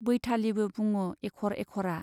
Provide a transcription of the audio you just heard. बैथालि' बो बुङो एख'र एख'रा।